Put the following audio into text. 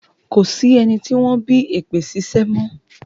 Ko sí ẹni tí wọ́n bí èpè ṣíṣẹ́ mọ́.